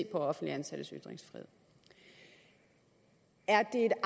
offentligt ansattes ytringsfrihed er